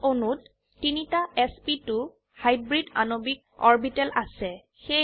এথেনে অণুত তিনটা এছপি2 হাইব্ৰিড আণবিক অৰবিটেল আছে